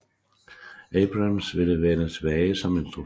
Abrams ville vende tilbage som instruktør